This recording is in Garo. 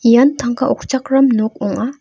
ian tangka okchakram nok ong·a.